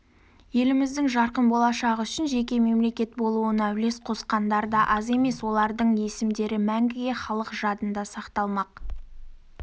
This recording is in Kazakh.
еліміздің жарқын болашағы үшін жеке мемлекет болуына үлес қосқандар да аз емес олардың есімдері мәңгіге халық жадында сақталмақ